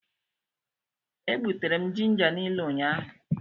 E gbutere ginja niile ụnyahụ.